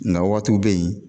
Na waatiw bɛ yen.